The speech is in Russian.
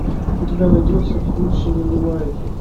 у тебя найдется круче не бывает